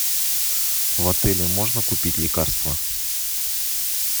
в отеле можно купить лекарства